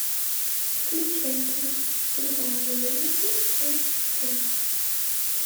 включай кино бульварные ужасы часть сорок